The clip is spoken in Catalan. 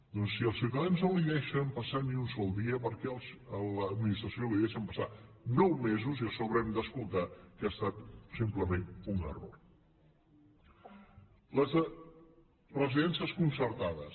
doncs si als ciutadans no els deixen passar ni un sol dia per què a l’administració li deixen passar nou mesos i a sobre hem d’escoltar que ha estat simplement un error les residències concertades